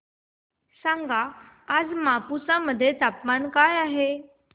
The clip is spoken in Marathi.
सांगा आज मापुसा मध्ये तापमान काय आहे